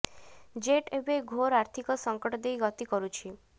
jet ଏବେ ଘୋର ଆର୍ଥିକ ସଙ୍କଟ ଦେଇ ଗତି କରୁଛି